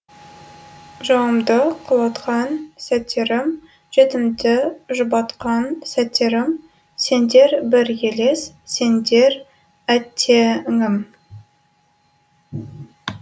жауымды құлатқан сәттерім жетімді жұбатқан сәттерім сендер бір елес сендер әттеңім